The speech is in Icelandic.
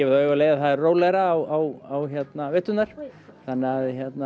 auga leið að það er rólegra á veturna þannig að